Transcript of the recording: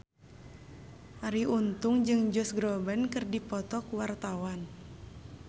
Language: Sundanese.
Arie Untung jeung Josh Groban keur dipoto ku wartawan